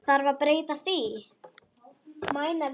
Þarf að breyta því?